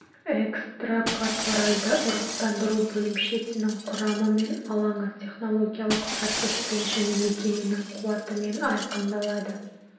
экстракорпоральды ұрықтандыру бөлімшесінің құрамы мен алаңы технологиялық процеспен және мекеменің қуатымен айқындалады